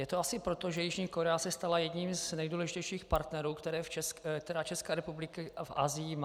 Je to asi proto, že Jižní Korea se stala jedním z nejdůležitějších partnerů, které Česká republika v Asii má.